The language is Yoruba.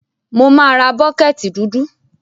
Mo má ra bucket dúdú